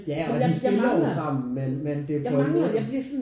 Ja og de spiller jo sammen men men det er på en måde